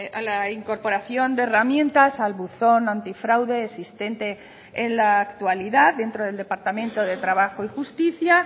a la incorporación de herramientas al buzón antifraude existente en la actualidad dentro del departamento de trabajo y justicia